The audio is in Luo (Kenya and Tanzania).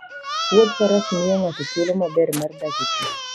Wuodh faras miyo ng'ato thuolo maber mar dak e thim.